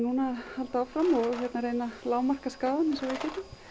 halda áfram og reyna að lágmarka skaðann eins og við getum